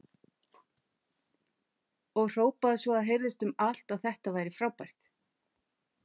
Og hrópaði svo að heyrðist um allt að þetta væri frábært!